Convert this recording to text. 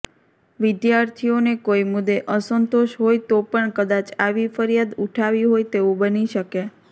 વિદ્યાર્થીઓને કોઈ મુદ્દે અસંતોષ હોય તો પણ કદાચ આવી ફરિયાદ ઉઠાવી હોય તેવું બની શકે